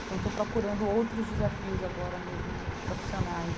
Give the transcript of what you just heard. Então, estou procurando outros desafios, agora mesmo, profissionais.